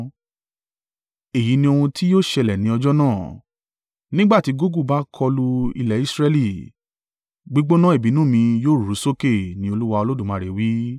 Èyí ni ohun tí yóò ṣẹlẹ̀ ní ọjọ́ náà, nígbà tí Gogu bá kọlu ilẹ̀ Israẹli, gbígbóná ìbínú mi yóò ru sókè, ni Olúwa Olódùmarè wí.